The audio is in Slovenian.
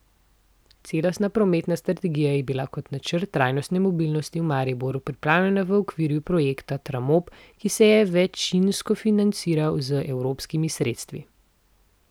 Celostna prometna strategija je bila kot načrt trajnostne mobilnosti v Mariboru pripravljena v okviru projekta Tramob, ki se je večinsko financiral z evropskimi sredstvi.